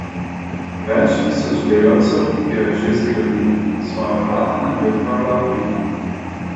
Več tisoč delavcev jo je že zgradilo, svoja vrata naj bi odprla aprila.